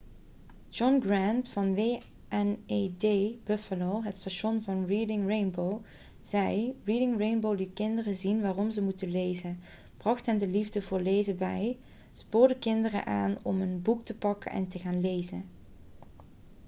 john grant van wned buffalo het station van reading rainbow zei: 'reading rainbow liet kinderen zien waarom ze moeten lezen... bracht hen de liefde voor lezen bij - [de show] spoorde kinderen aan om een boek te pakken en te gaan lezen.'